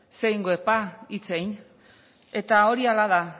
zer egingo dut ba hitz egin eta hori hala da